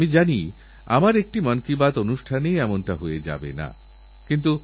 আমিও আগামী দিনে যেখানেই থাকি না কেন আমাদের খেলোয়াড়দের উৎসাহিত করারজন্য কিছু না কিছু করব